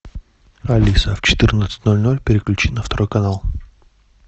алиса в четырнадцать ноль ноль переключи на второй канал